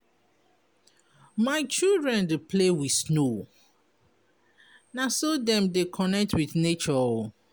My children dey play wit snow, na so dem dey connect wit nature o.